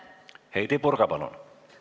Heidy Purga, palun!